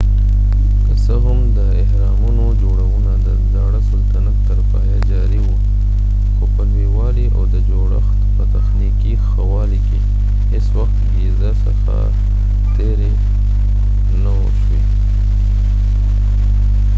که څه هم د اهرامونو جوړونه د زاړه سلطنت تر پایه جاري وه خو په لویوالی او د جوړښت په تخنیکي ښه والی کې هیڅوخت ګیزا څخه تېری نه و شوی